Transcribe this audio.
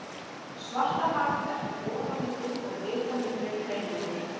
Svartahafið er hér ofar á myndinni og er litamunurinn greinilegur.